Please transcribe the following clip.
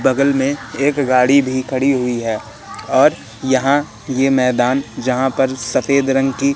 बगल में एक गाड़ी भी खड़ी हुई है और यहां ये मैदान जहां पर सफेद रंग की--